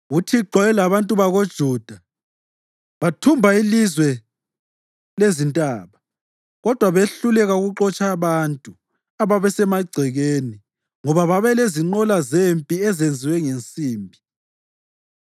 UThixo wayelabantu bakoJuda. Bathumba ilizwe lezintaba, kodwa behluleka ukuxotsha abantu ababesemagcekeni ngoba babelezinqola zempi ezenzwe ngensimbi.